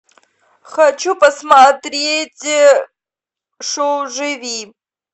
хочу посмотреть шоу живи